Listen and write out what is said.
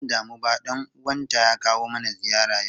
Ba zan damu ba dan uwanta ys kawo mana ziyara yau.